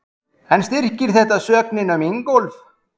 Kristján Már Unnarsson: En styrkir þetta sögnina um Ingólf?